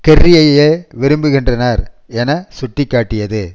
கெர்ரியையே விரும்புகின்றனர் என சுட்டி காட்டியது